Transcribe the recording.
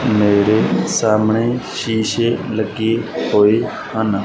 ਮੇਰੇ ਸਾਹਮਣੇ ਸ਼ੀਸ਼ੇ ਲੱਗੇ ਹੋਏ ਹਨ।